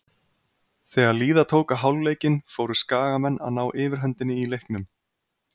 Þegar líða tók á hálfleikinn fóru Skagamenn að ná yfirhöndinni í leiknum.